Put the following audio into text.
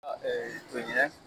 to ɲinɛn